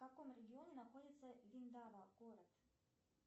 в каком регионе находится виндава город